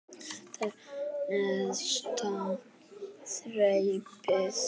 Þetta er neðsta þrepið.